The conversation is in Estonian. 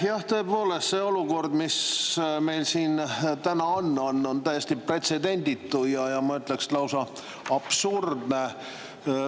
Jah, tõepoolest, see olukord, mis meil siin täna on, on täiesti pretsedenditu ja ma ütleks, et lausa absurdne.